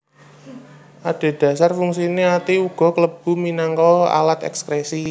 Adhedhasar fungsiné ati uga klebu minangka alat èkskrèsi